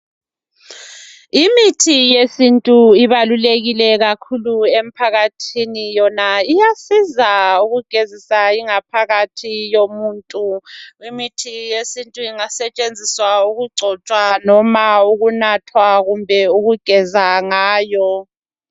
Imithi yesintu ibalulekile kakhulu emphakathini. Yona iyasiza ukugezisa ingaphakathi yomuntu. Imithi yesintu ingasetshenziswa ukugcotshwa loma ukunathwa kumbe ukugeza ngayo.